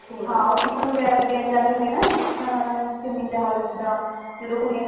ਉਹ ਟਿਫ਼ਿਨ ਵਗੇਰਾ ਵੀ ਦੇਣ ਜਾਉਂਦੀ ਹੈ ਨਾ ਅਮ ਸਿੰਮੀ ਚਹਿਲ ਇੱਦਾਂ ਜਦੋਂ ਕੁੜੀਆਂ